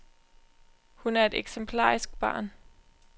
Hun er et eksemplarisk barn.